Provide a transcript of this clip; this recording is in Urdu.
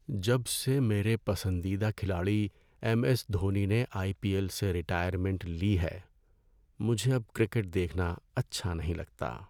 جب سے میرے پسندیدہ کھلاڑی ایم ایس دھونی نے آئی پی ایل سے ریٹائرمنٹ لی ہے، مجھے اب کرکٹ دیکھنا اچھا نہیں لگتا۔